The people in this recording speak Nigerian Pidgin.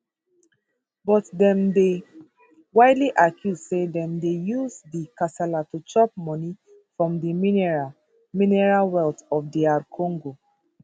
but dem dey widely accused say dem dey use di kasala to chop money from di mineral mineral wealth of dr congo